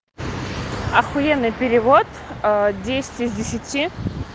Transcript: ахуенный перевод десять из десяти